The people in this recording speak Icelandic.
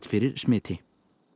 fyrir smiti